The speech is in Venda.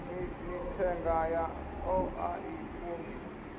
mithenga yaḽo a i kungi